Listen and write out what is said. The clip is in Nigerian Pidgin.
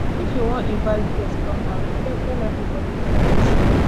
if you wan invite guest come house abeg tell everybody before dem show